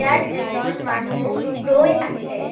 ইয়াত এজন মানুহ ৰৈ আছে।